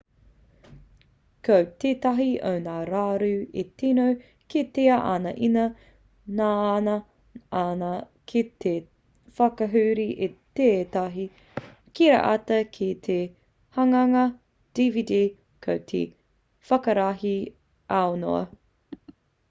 ko tētahi o ngā raru e tino kitea ana ina ngana ana ki te whakahuri i tētahi kiriata ki te hanganga dvd ko te whakarahi aunoa